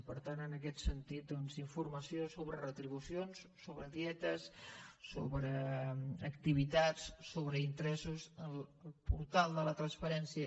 i per tant en aquest sentit doncs informació sobre retribucions sobre dietes sobre activitats sobre interessos al portal de la transparència